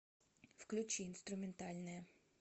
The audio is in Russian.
включи инструментальная